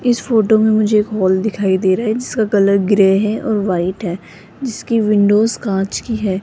इस फोटो में मुझे एक हॉल दिखाई दे रहा है जिसका कलर ग्रे है और व्हाइट है जिसकी विंडोस कांच की है।